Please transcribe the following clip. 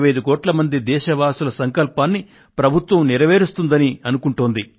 125 కోట్ల మంది దేశవాసుల సంకల్పాన్ని ప్రభుత్వం నెరవేరుస్తుందని అనుకుంటోంది